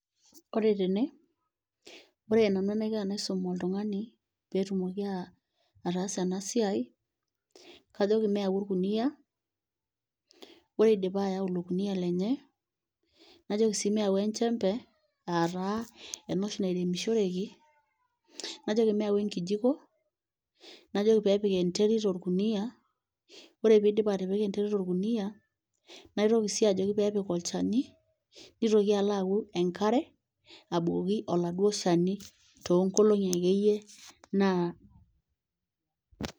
Ooore teene, oore nanu enaiko tenaisum oltung'ani, peyie etumoki ataasa eena siai kajoki meyau orkuniyia, oore idipa ayau iilo kuniyia lenye, najoki sii meyau enchempe, aah taa eena oshi nairemishoreki, najoki meyau enkijiko, najoki peyie epik enterit orkuuniyia, oore peyie eidip atipika enterit orkuuniyia, naitoki sii ajoki peyie epik olchani, neitoki aalo ayau enkare, abukoki oladuo shani tonkolong'i akeyie.